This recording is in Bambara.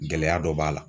Gɛlɛya dɔ b'a la